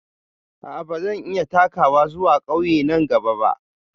A'a, ba zan iya takawa zuwa ƙauye na gaba ba.